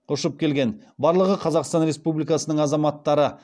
ұшып келген барлығы қазақстан республикасының азаматтары